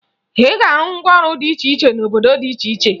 Ị ga-ahụ ngwaọrụ dị iche cihe n'obodo dị iche iche